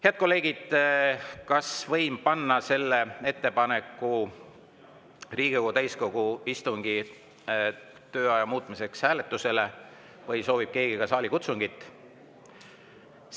Head kolleegid, kas võin panna ettepaneku Riigikogu täiskogu istungi tööaja muutmiseks hääletusele või soovib keegi ka saalikutsungit?